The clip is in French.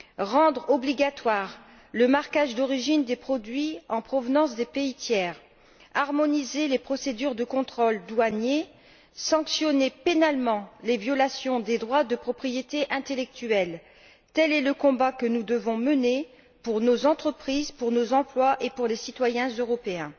Rendre obligatoire le marquage d'origine des produits en provenance des pays tiers, harmoniser les procédures de contrôle douanier, sanctionner pénalement les violations des droits de propriété intellectuelle tel est le combat que nous devons mener pour nos entreprises, pour nos emplois et pour les citoyens européens.